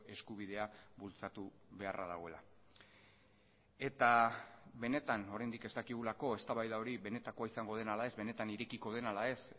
eskubidea bultzatu beharra dagoela eta benetan oraindik ez dakigulako eztabaida hori benetakoa izango den ala ez benetan irekiko den ala ez